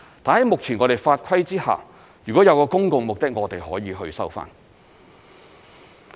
但在目前的法規之下，如果有公共目的，我們是可以去收回的。